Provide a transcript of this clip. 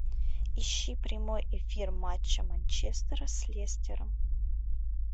ищи прямой эфир матча манчестера с лестером